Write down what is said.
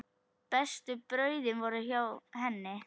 Bestu brauðin voru hjá henni.